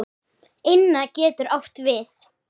Inna getur átt við